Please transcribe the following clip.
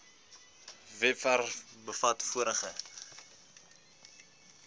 webwerf bevat vorige